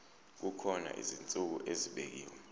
kukhona izinsuku ezibekiwe